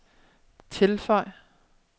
tilføj